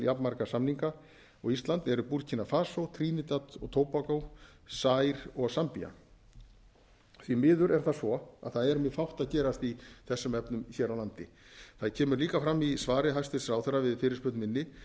jafnmarga samninga og ísland eru burkína fasó trínidad og tóbagó zaír og zambía því miður er það svo að það er mjög fátt að gerast í þessum efnum hér á landi það kemur líka fram í svari hæstvirts ráðherra við fyrirspurn minni